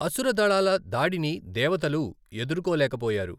అసుర దళాల దాడిని దేవతలు ఎదుర్కోలేకపోయారు.